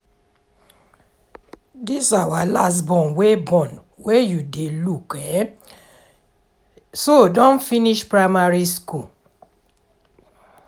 dis our last born wey born wey you dey look um so don finish primary school